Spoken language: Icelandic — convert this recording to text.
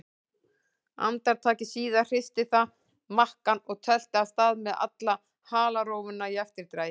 Andartaki síðar hristi það makkann og tölti af stað með alla halarófuna í eftirdragi.